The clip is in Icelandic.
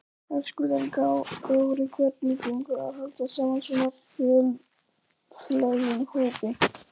Höskuldur Kári: Hvernig gengur að halda saman svona fjölþjóðlegum hópi?